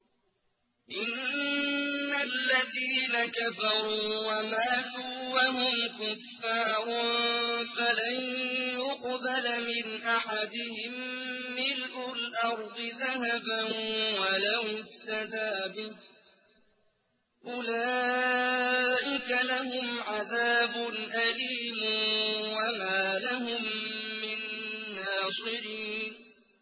إِنَّ الَّذِينَ كَفَرُوا وَمَاتُوا وَهُمْ كُفَّارٌ فَلَن يُقْبَلَ مِنْ أَحَدِهِم مِّلْءُ الْأَرْضِ ذَهَبًا وَلَوِ افْتَدَىٰ بِهِ ۗ أُولَٰئِكَ لَهُمْ عَذَابٌ أَلِيمٌ وَمَا لَهُم مِّن نَّاصِرِينَ